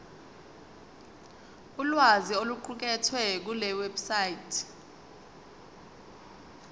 ulwazi oluqukethwe kulewebsite